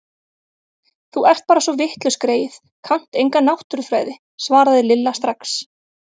Þú ert bara svo vitlaus greyið, kannt enga náttúrufræði svaraði Lilla strax.